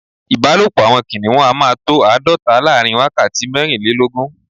Ìbálòpọ́ àwọn kìnìhún a máa tó àádọ́ta láàrin wákàtí mẹ́rìnlélógún.